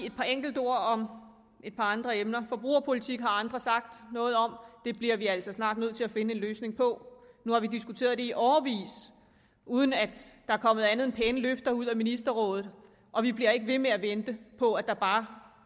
et par enkelte ord om et par andre emner forbrugerpolitik har andre sagt noget om det bliver vi altså snart nødt til at finde en løsning på nu har vi diskuteret det i årevis uden at der er kommet andet end pæne løfter ud af ministerrådet og vi bliver ikke ved med at vente på at der bare